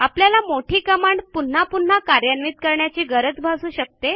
आपल्याला मोठी कमांड पून्हा पून्हा कार्यान्वित करण्याची गरज भासू शकते